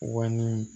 Wa ni